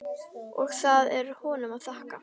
Og það er honum að þakka.